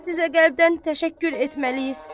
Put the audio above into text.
Sizə qəlbdən təşəkkür etməliyik.